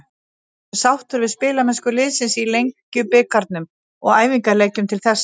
Ertu sáttur við spilamennsku liðsins í Lengjubikarnum og æfingaleikjum til þessa?